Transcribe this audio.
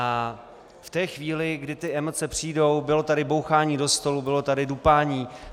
A v té chvíli, kdy ty emoce přijdou - bylo tady bouchání do stolu, bylo tady dupání.